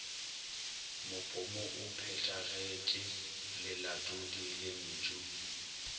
mopomo o phethagetpe lelatodi lentpu